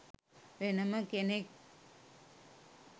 වෙනම කෙනෙක්.